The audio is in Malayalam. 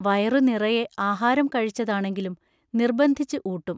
വയറു നിറയെ ആഹാരം കഴിച്ചതാണെങ്കിലും നിർബന്ധിച്ച് ഊട്ടും.